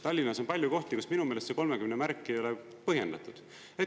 Tallinnas on palju kohti, kus minu meelest see 30 märki ei ole põhjendatud.